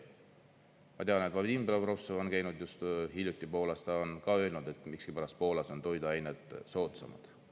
Ma tean, et Vadim Belobrovtsev on käinud just hiljuti Poolas, ta on ka öelnud, et miskipärast Poolas on toiduained soodsamad.